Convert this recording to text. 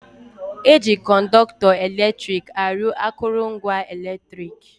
Eji Kọnọktọ eletrik arụ akụrụngwa eletrik